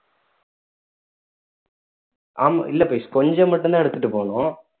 ஆமா இல்ல பவிஷ் கொஞ்சம் மட்டும் தான் எடுத்துட்டு போனோம்